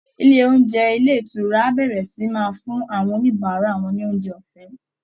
Ilé oúnjẹ ilé ìtura á bẹ̀rẹ̀ sì í máa fún àwọn oníbàárà wọn ní oúnjẹ ọ̀fẹ́